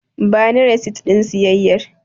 Bani resit ɗin siyayyar.